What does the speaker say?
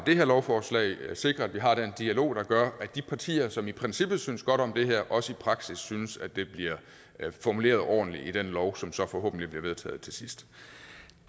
det her lovforslag sikre at vi har den dialog der gør at de partier som i princippet synes godt om det her også i praksis synes at det bliver formuleret ordentligt i den lov som så forhåbentlig bliver vedtaget til sidst